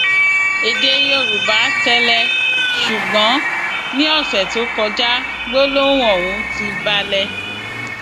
èdè yorùbá tẹlẹ ṣùgbọn ní ọsẹ tó kọjá gbólóhùn ọhún ti balẹ